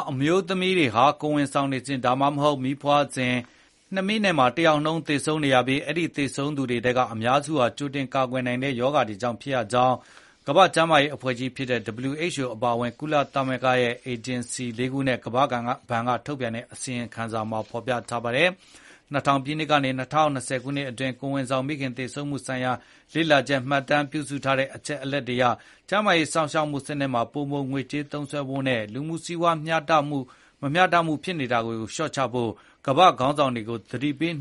အမျိုးသမီးတွေဟာ ကိုယ်ဝန်ဆောင်စဉ် ဒါမှမဟုတ် မီးဖွားစဉ်မှာ နှစ်မိနစ် တယောက်နှုန်း သေဆုံးနေရပြီး အဲဒီသေဆုံးသူတွေထဲက အများစုဟာ ကြိုတင်ကာကွယ်နိုင်တဲ့ ရောဂါတွေကြောင့် ဖြစ်ရကြောင်း ကမ္ဘာ့ကျန်းမာရေးအဖွဲ့ (WHO) အပါအဝင် ကုလသမဂ္ဂရဲ့ ထိပ်တန်းအေဂျင်စီ လေးခုနဲ့ ကမ္ဘာ့ဘဏ် က ထုတ်ပြန်တဲ့ အစီရင်ခံစာအသစ်တခုက ဆိုပါတယ်။ “၂၀၀၀ ပြည့်နှစ်ကနေ ၂၀၂၀ ခုနှစ် အတွင်း ကိုယ်ဝန်ဆောင် မိခင် သေဆုံးမှု" ဆိုင်ရာကို လေ့လာ မှတ်တမ်းပြုထားတဲ့ အချက်အလက်တွေကအရ ကျန်းမာရေးစောင့်ရှောက်မှုစနစ်တွေမှာ ပိုမို ပိုက်ဆံသုံးစွဲဖို့နဲ့ လူမှု စီးပွား မမျှမတ ဖြစ်နေတာတွေကို လျှော့ချဖို့ ကမ္ဘာ့ခေါင်းဆောင်တွေကို သတိပေး